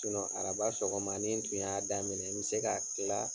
Araba sɔgɔma ni n kun y'a daminɛ n be se ka kila .